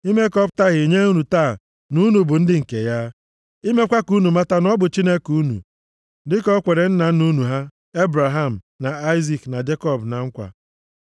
ime ka ọ pụta ìhè nye unu taa na unu bụ ndị nke ya, imekwa ka unu mata na ọ bụ Chineke unu, dịka o kwere nna nna unu ha, Ebraham, na Aịzik, na Jekọb na nkwa.